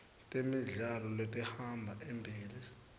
temidlalo letihamba embili